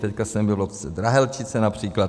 Teď jsem byl v obci Drahelčice například.